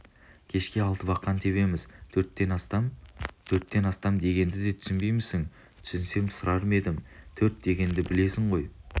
кешке алты бақан тебеміз төрттен астам төрттен астам дегенге де түсінбеймісің түсінсем сұрар ма едім төрт дегенді білесің ғой